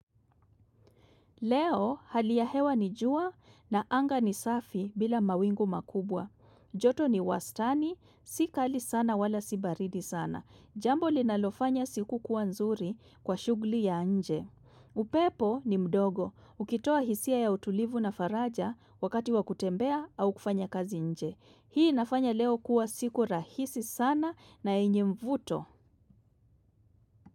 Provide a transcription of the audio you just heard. Leo hali ya hewa ni jua na anga ni safi bila mawingu makubwa. Joto ni wastani, si kali sana wala si baridi sana. Jambo linalofanya siku kuwa nzuri kwa shughuli ya nje. Upepo ni mdogo, ukitoa hisia ya utulivu na faraja wakati wa kutembea au kufanya kazi nje. Hii inafanya leo kuwa siku rahisi sana na yenye mvuto.